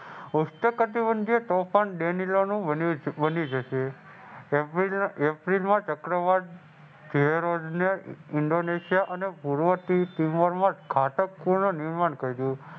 ઉષ્ણકટિબંધીય તુફાન એપ્રિલમાં ચક્રવાત